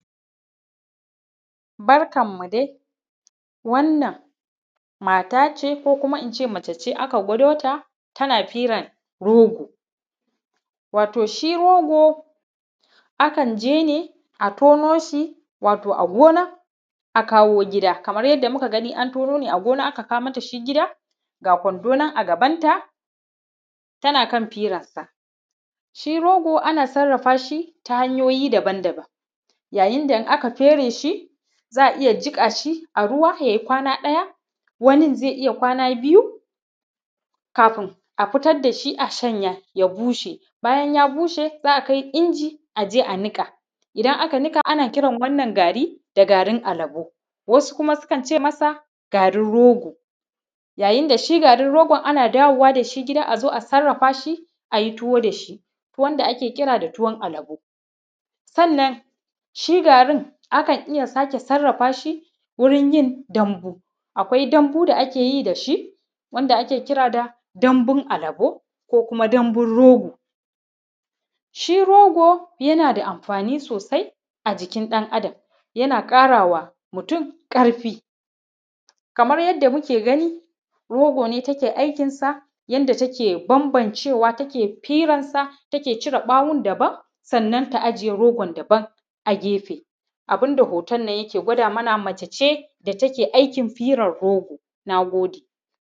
Barkanmu dai wannan mata ce ko Kuma in ce mace ce aka gwado ta tana firan rogo wato shi rogo akan je ne a tono shi a kawo gida kamar yadda muka gani aka kawo mata shi gida ga kwando nan a gabanta tana kan firansa. Shi rogo ana sarrafa shi ta hanyoyi daban-daban da Wanda in aka fere shi za a iya jiƙa shi a ruwa ya yi kwana ɗaya ko ya yi kwana biyu kafin a fitar da shi a shanya ya bushe bayan ya bushe za a kai inji a je a niƙa idan aka niƙa ana Kiran wannan gari da garin alabo, wasu Kuma ana Kiran shi da garin rogo yayin da shi garin rogo ana dawo da shi gida a zo a sarrafa shi a yi tuwo, towon da ake Kiran da tuwon alabo. Sannan shi garin abu ne da aka sarrafa shi wurin yin dambu. Akwai dambu da ake yi da shi wanda ake kira da dambun alabo da dambun rogo. Shi rogo yana da amfani sosai a jikin ɗan Adam yana ƙara wa mutum ƙarfi kamar yadda kuke gani rogo ne take aikinsa yanda take bambancewa take firansa take cire ɓawon daban sannan ajiye ɓawon daban a gefe. Abun da wannan hoton take nuna mana mace ce da take aikin firan rogo. Na gode